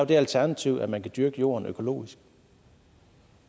det alternativ at man kan dyrke jorden økologisk